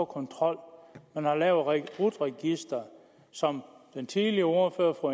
kontrol man har lavet rut registeret som den tidligere ordfører fru